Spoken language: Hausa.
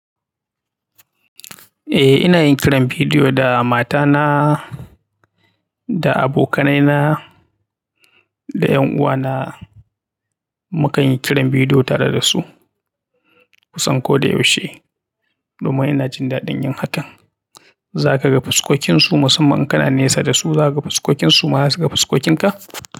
Eh, ina yin kiran bidiyo da matana, da abokanaina, da 'yan uwana. Mukan yi kiran bidiyo tare da su kusan koda yaushe domin ina jin daɗin yin hakan. Zaka ga fuskokinsu musamman in kana nesa da su, zaka ga fuskokinsu, kuma za su ga fuskokinka.